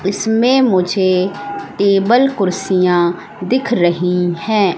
इसमें मुझे टेबल कुर्सियां दिख रही हैं।